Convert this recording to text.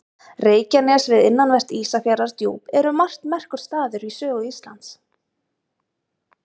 Reykjanes við innanvert Ísafjarðardjúp er um margt merkur staður í sögu Íslands.